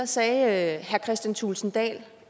sagde herre kristian thulesen dahl